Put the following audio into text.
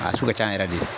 A sugu ka can yɛrɛ de